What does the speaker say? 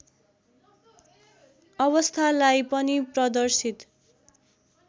अवस्थालाई पनि प्रदर्शित